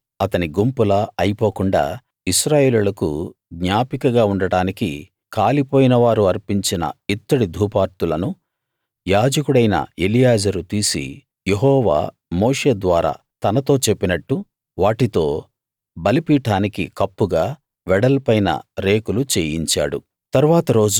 కోరహులా అతని గుంపులా అయపోకుండా ఇశ్రాయేలీయులకు జ్ఞాపికగా ఉండడానికి కాలిపోయినవారు అర్పించిన ఇత్తడి ధూపార్తులను యాజకుడైన ఎలియాజరు తీసి యెహోవా మోషే ద్వారా తనతో చెప్పినట్టు వాటితో బలిపీఠానికి కప్పుగా వెడల్పైన రేకులు చెయ్యించాడు